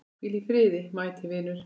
Hvíl í friði mæti vinur.